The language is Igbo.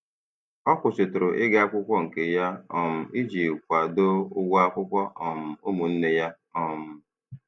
Ọ kwụsịtụrụ ịga akwụkwọ nke ya um iji kwado ụgwọ akwụkwọ um ụmụnne ya. um